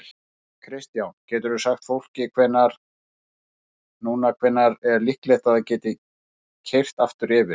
Kristján: Geturðu sagt fólki núna hvenær er líklegt að það geti keyrt aftur yfir?